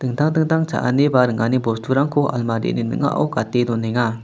dingtang dingtang cha·ani ba ringani bosturangko almarini ning·ao gate donenga.